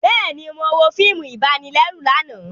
Bẹẹni, Mo wo fíìmù ibanilẹru lànà